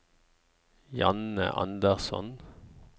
Janne Andersson